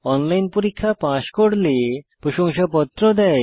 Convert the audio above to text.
online পরীক্ষা pass করলে প্রশংসাপত্র দেয়